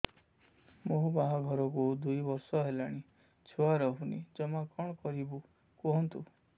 ମୋ ବାହାଘରକୁ ଦୁଇ ବର୍ଷ ହେଲାଣି ଛୁଆ ରହୁନି ଜମା କଣ କରିବୁ କୁହନ୍ତୁ